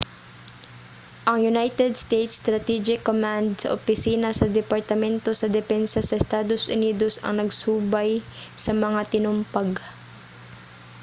ang united states strategic command sa opisina sa departamento sa depensa sa estados unidos ang nagsubay sa mga tinumpag